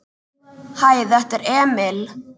Hæ, þetta er Emil.